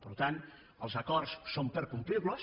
per tant els acords són per complir los